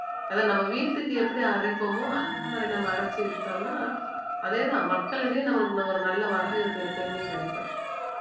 அத நம்ம வீட்டுக்கு எப்படி அரைப்போமோ அந்த மாதிரி நம்ம அரைச்சு வித்தோம்னா அதேதான் மக்களிடையே நம்மளுக்கு இன்னும் ஒரு நல்ல வரவேற்பு எப்பயுமே கிடைக்கும்